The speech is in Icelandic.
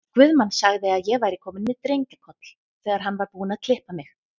Guðmann sagði að ég væri komin með drengjakoll, þegar hann var búinn að klippa mig.